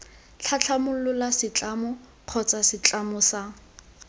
tlhatlhamolola setlamo kgotsa setlamo sa